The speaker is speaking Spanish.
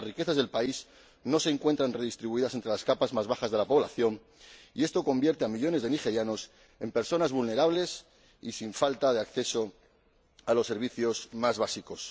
Y es que las riquezas del país no se encuentran redistribuidas entre las capas más bajas de la población, y esto convierte a millones de nigerianos en personas vulnerables y carentes de acceso a los servicios más básicos.